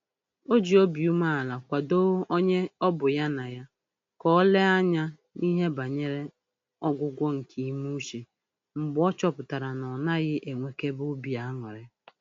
O ji obi umeala kwadoo onye ọ bụ ya na ya ka o lenye anya n'ihe banyere ọgwụgwọ nke ime uche mgbe ọ chọpụtara na ọ naghị enwekebe obi aṅụrị